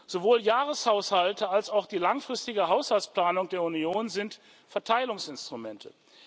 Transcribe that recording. Sowohl Jahreshaushalte als auch die langfristige Haushaltsplanung der Union sind Verteilungsinstrumente.